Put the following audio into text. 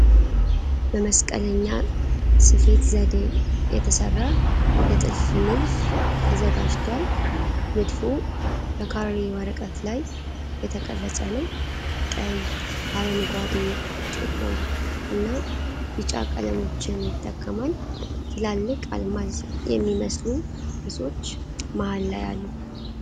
በመስቀለኛ ስፌት ዘዴ የተሠራ የጥልፍ ንድፍ ተዘጋጅችቷል። ንድፉ በካሬ ወረቀት ላይ የተቀረጸ ነው። ቀይ፣ አረንጓዴ፣ ጥቁር እና ቢጫ ቀለሞችን ይጠቀማል። ትላልቅ አልማዝ የሚመስሉ ቅርጾች መሃል ላይ አሉ።